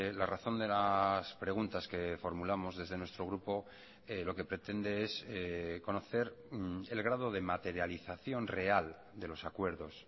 la razón de las preguntas que formulamos desde nuestro grupo lo que pretende es conocer el grado de materialización real de los acuerdos